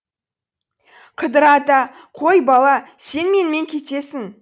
қыдыр ата қой бала сен менімен кетесің